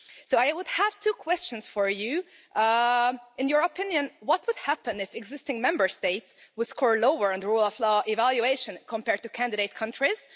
I have two questions for you in your opinion, what would happen if existing Member States scored lower on the rule of law evaluation compared to candidate countries?